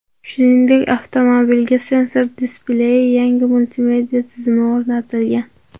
Shuningdek, avtomobilga sensor displeyli yangi multimedia tizimi o‘rnatilgan.